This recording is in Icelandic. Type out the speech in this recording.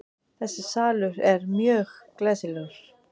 Þessi salur er mjög glæsilegur.